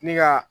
Ni ka